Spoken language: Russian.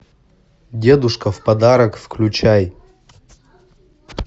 дедушка в подарок включай